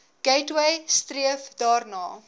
gateway streef daarna